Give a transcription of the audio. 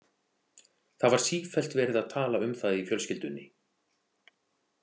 Það var sífellt verið að tala um það í fjölskyldunni.